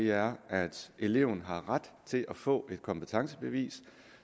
er at eleven har ret til at få et kompetencebevis